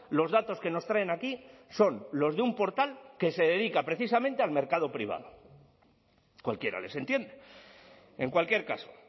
los datos que nos traen aquí son los de un portal que se dedica precisamente al mercado privado cualquiera les entiende en cualquier caso